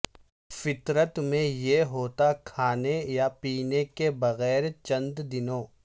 فطرت میں یہ ہوتا کھانے یا پینے کے بغیر چند دنوں